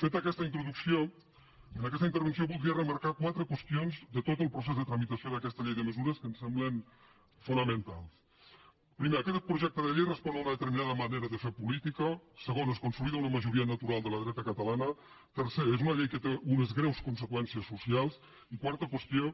feta aquesta introducció en aquesta intervenció voldria remarcar quatre qüestions de tot el procés de tramitació d’aquesta llei de mesures que em semblen fonamentals primera aquest projecte de llei respon a una determinada manera de fer política segona es consolida una majoria natural de la dreta catalana tercera és una llei que té unes greus conseqüències socials i quarta qüestió